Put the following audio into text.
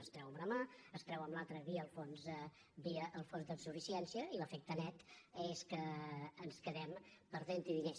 es treu amb una mà es treu amb l’altra via el fons de suficiència i l’efecte net és que ens quedem perdenthi diners